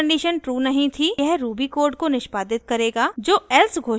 यह ruby code को निष्पादित करेगा जो else घोषणा का पालन करता है